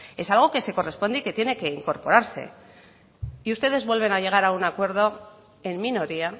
es algo que se corresponde y que tiene que ir incorporarse y ustedes vuelven a llegar a un acuerdo en minoría